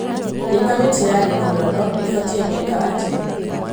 Ĩĩ kamĩtĩ ya gĩthurano ĩĩ batie gwĩka atĩa